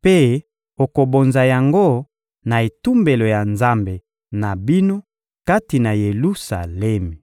mpe okobonza yango na etumbelo ya Nzambe na bino kati na Yelusalemi.